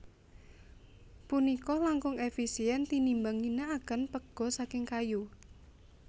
Punika langkung efisien tinimbang ngginakaken pega saking kayu